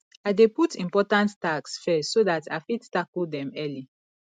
i dey put di important tasks first so dat i fit tackle dem early